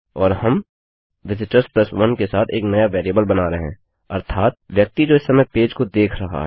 और हम विजिटर्स 1के साथ एक नया वेरिएबल बना रहे हैं अर्थात व्यक्ति जो इस समय पेज को देख रहा है